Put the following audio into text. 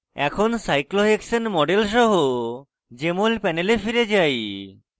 এখন cyclohexane model সহ jmol panel ফিরে যাই